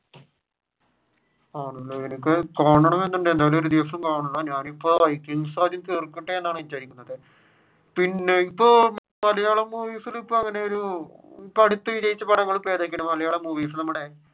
ഞാനിപ്പോൾ ആദ്യം വൈകിങ്‌സ്‌ തീർക്കട്ടെ എന്നാണ് വിചാരിക്കുന്നത്. പിന്നെ ഇപ്പൊ മലയാളം മൂവിസിൽ ഇപ്പൊ അങ്ങെയൊരു ഏതൊക്കെയാണ് മലയാളം മൂവിസിൽ